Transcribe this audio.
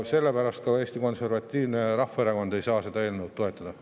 Selle pärast Eesti Konservatiivne Rahvaerakond ei saa seda eelnõu toetada.